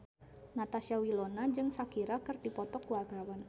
Natasha Wilona jeung Shakira keur dipoto ku wartawan